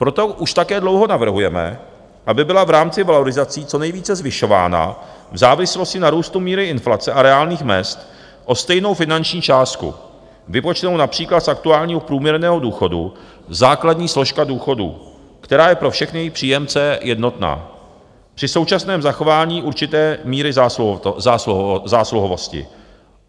Proto už také dlouho navrhujeme, aby byla v rámci valorizací co nejvíce zvyšována v závislosti na růstu míry inflace a reálných mezd o stejnou finanční částku, vypočtenou například z aktuálního průměrného důchodu, základní složka důchodů, která je pro všechny její příjemce jednotná, při současném zachování určité míry zásluhovosti.